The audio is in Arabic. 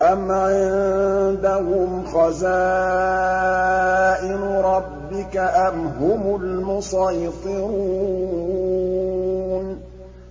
أَمْ عِندَهُمْ خَزَائِنُ رَبِّكَ أَمْ هُمُ الْمُصَيْطِرُونَ